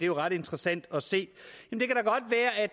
jo ret interessant at se